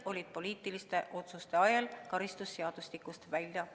Poliitiliste otsuste ajel viidi need normid karistusseadustikust välja.